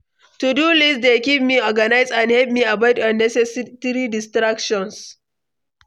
To-do list dey keep me organized and help me avoid unnecessary distractions.